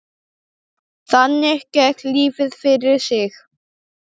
Þannig gekk lífið fyrir sig.